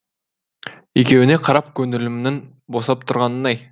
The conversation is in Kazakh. екеуіне қарап көңілімнің босап тұрғанын ай